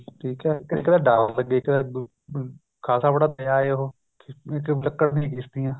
ਠੀਕ ਹੈ ਇੱਕ ਤਾਂ ਡਰ ਲੱਗੇ ਇੱਕ ਤਾਂ ਖਾਸਾ ਬੜਾ ਦਰਿਆ ਹੈ ਉਹ ਇੱਕ ਲੱਕੜ ਦੀਆਂ ਕਿਸ਼ਤੀਆਂ